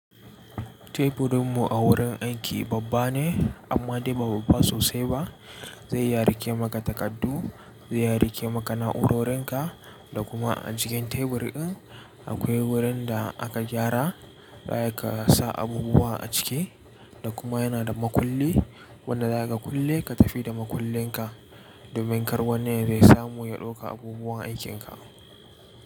Teburinmu a wurin aiki babba ne amma dai ba babba sosai ba. Zai iya riƙe maka takardu, zai iya riƙe maka na’urorin ka, da kuma a jikin tebur in akwai wurin da aka gyara, aka sa abubuwa a ciki, da kuma yana da makulli wanda zakaga kulle ka tafi da makullin ka, domin kar wani yazo ya samu ya dauka abubuwan aikin ka.